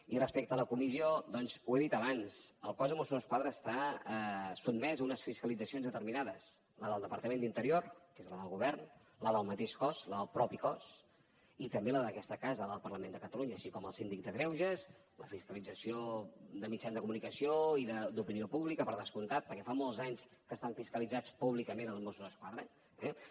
i respecte a la comissió doncs ho he dit abans el cos de mossos d’esquadra està sotmès a unes fiscalitzacions determinades la del departament d’interior que és la del govern la del mateix cos i també la d’aquesta casa la del parlament de catalunya així com el síndic de greuges la fiscalització de mitjans de comunicació i d’opinió pública per descomptat perquè fa molts anys que estan fiscalitzats públicament els mossos d’esquadra eh